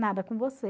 Nada com você.